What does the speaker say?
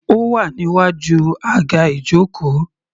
Ó wà níwájú aga ijoko.